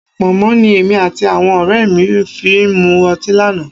Pọ̀nmọ́ ni èmi àti àwọn ọ̀rẹ́ mi fi mu ọtí lánàá